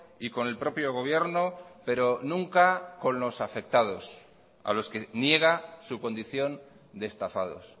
y con el propio gobierno pero nunca con los afectados a los que niega su condición de estafados